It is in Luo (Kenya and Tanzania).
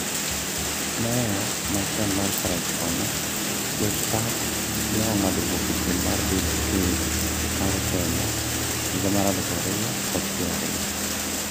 Meya ma chon ma karachuonyo, jospat ne ong'ado wuok e piem mar bedo ker mar Kenya higa mar aluf ariyo kod piero ariyo